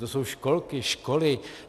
To jsou školky, školy.